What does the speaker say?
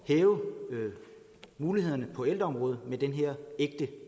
hæve mulighederne på ældreområdet med den her ægte